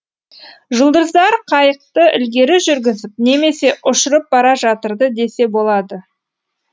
жұлдыздар қайықты ілгері жүргізіп немесе ұшырып бара жатырды десе болады